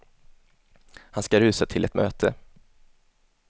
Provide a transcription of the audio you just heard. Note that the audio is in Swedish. Han ska rusa till ett möte.